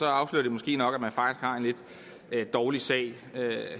afslører det måske nok at man har en lidt dårlig sag